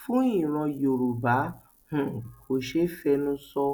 fún ìran yorùbá um kò ṣeé fẹnu sọ